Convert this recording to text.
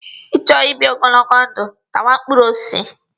Ị chọọ ibi ogologo ndụ, tawa mkpụrụ osisi.